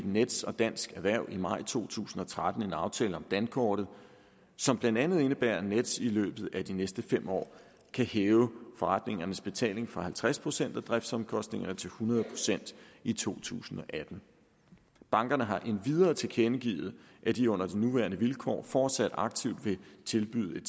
nets og dansk erhverv i maj to tusind og tretten en aftale om dankortet som blandt andet indebærer at nets i løbet af de næste fem år kan hæve forretningernes betaling fra halvtreds procent af driftsomkostningerne til hundrede procent i to tusind og atten bankerne har endvidere tilkendegivet at de under de nuværende vilkår fortsat aktivt vil tilbyde